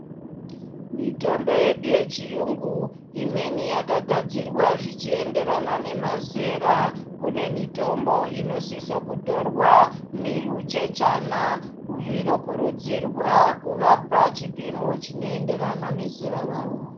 Mitombo yedu yechiyungu, imweni yakagadziwa zvichienderana nemazera. Kune mitombo inosiswe kutorwa nehuchechana, mhuri inokurudzirwa kuvapa chipimo chinoenderana nezera ravo.